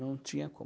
Não tinha como.